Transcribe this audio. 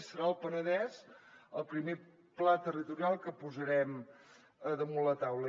i serà el penedès el primer pla territorial que posarem damunt la taula